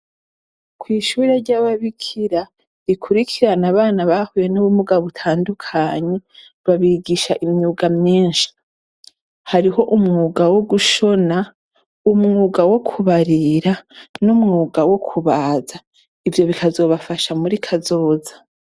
Kw'ishure ry'ababikira rikurikirana abana bahuye n'ubumuga butandukanye, babigisha imyuga myinshi. Hariho umwuga wo gushona, umwuga wo kubarira, n'umwuga wo kubaza. Ivyo bikazobafasha muri kazoza.